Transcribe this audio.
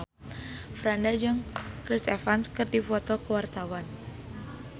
Franda jeung Chris Evans keur dipoto ku wartawan